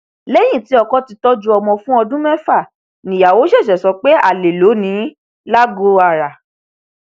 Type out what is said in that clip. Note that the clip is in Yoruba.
lẹyìn tí ọkọ ti tọjú ọmọ fún ọdún mẹfà níyàwó ṣẹṣẹ sọ pé alẹ ló ní in lagoara